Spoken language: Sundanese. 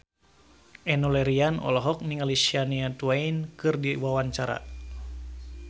Enno Lerian olohok ningali Shania Twain keur diwawancara